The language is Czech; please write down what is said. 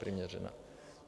Přiměřená.